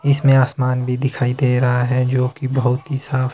इसमें आसमान भी दिखाई दे रहा है जो की बहोत ही साफ--